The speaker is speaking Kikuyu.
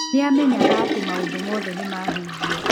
Nĩ amenyaga atĩ maũndũ mothe nĩ mahingio.